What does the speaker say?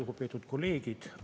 Lugupeetud kolleegid!